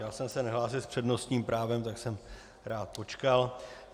Já jsem se nehlásil s přednostním právem, tak jsem rád počkal.